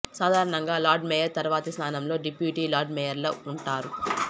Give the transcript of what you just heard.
సాధారణంగా lord mayor తర్వాతి స్థానంలో డిప్యూటీ లార్డ్ మేయర్లు ఉంటారు